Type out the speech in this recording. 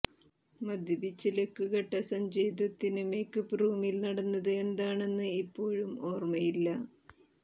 മദ്യപിച്ച് ലക്കു കെട്ട സഞ്ജയ് ദത്തിന് മേക്കപ്പ് റൂമിൽ നടന്നത് എന്താണെന്ന് ഇപ്പോഴും ഓർമ്മയില്ല